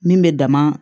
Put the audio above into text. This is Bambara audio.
Min bɛ dama